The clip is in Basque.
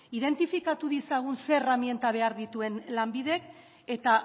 identifikatu ditzagun zein erreminta behar dituen lanbidek eta